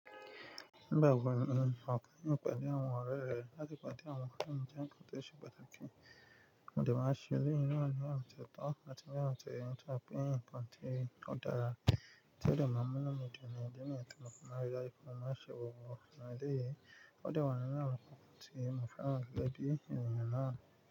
Nígbà wo ni ò keyin pàdé àwọn ọ̀rẹ́ rẹ láti pàdé àwọn ọ̀rẹ́ mi je nkan tó ṣe pàtàkì? Mo de maa n ṣẹ́ eleyi na ní ọ̀na ti o tọ̀ áti ni ona toye tori pe nkan tí o dára, tí ó de ma mu inu midun ní idi niyen ti mofi maa n ri daju pe jù ní bí mo ti mọ̀ ọ́n láti láìpẹ́. Mo máa ṣe wò wò fún ọ lẹ́yìn. Ó dà wá nínu àwọn nkankan tí mo fẹ́ràn gege bí ènìyàn náà.